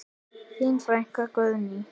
Þín frænka Guðný.